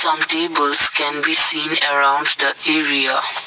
some tables can be seen arounds the area.